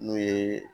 N'o ye